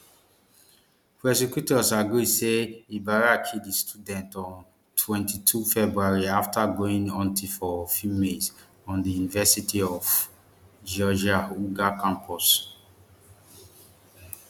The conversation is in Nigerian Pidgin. prosecutors argue say ibarra kill di student on twenty-two february after going hunting for females on di university of georgia uga campus